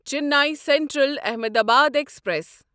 Chennai central Ahmedabad express